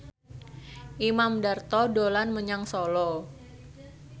Imam Darto dolan menyang Solo